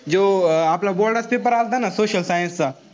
जेव्हा आपला board चा paper आलता ना social science चा,